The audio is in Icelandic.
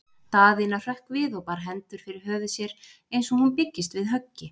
Daðína hrökk við og bar hendur fyrir höfuð sér eins og hún byggist við höggi.